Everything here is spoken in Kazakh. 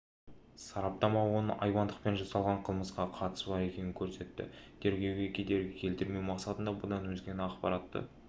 сараптама оның айуандықпен жасалған қылмысқа қатысы бар екенін көрсетті тергеуге кедергі келтірмеу мақсатында бұдан өзге ақпаратты